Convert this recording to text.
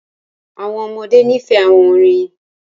Àwọn ọmọdé ní fẹ̀ àwọn orín.